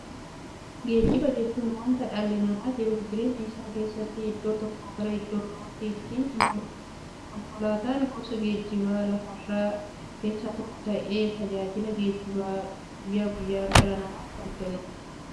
Geejjiba jechuun wanta dhalli namaa jiruuf jireenya isaa keessatti iddoo tokkoo gara iddoo birootti ittiin imaluudha. Konkolaatan gosa geejjibaa lafarraa keessaa tokko ta'ee, tajaajila geejjibaa guyyaa guyyaan dhala namaaf kenna.